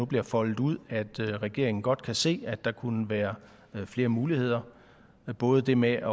bliver foldet ud at regeringen godt kan se at der kunne være flere muligheder både det med